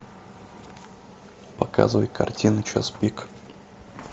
показывай картину час пик